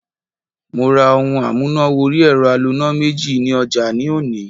Mo ra ohun amúnà wọrí ẹ̀rọ aloná méjì ní ọjà ní òní.